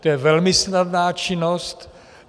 To je velmi snadná činnost.